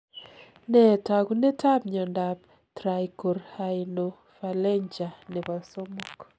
Nee taakunetaab myondap Trichorhinophalangea nebo 3?